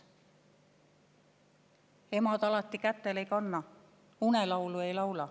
/ Emad alati kätel ei kanna, / unelaulu ei laula.